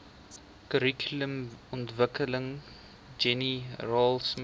kurrikulumontwikkeling jenny raultsmith